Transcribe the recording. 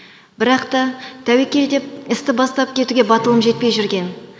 бірақ та тәуекел деп істі бастап кетуге батылым жетпей жүрген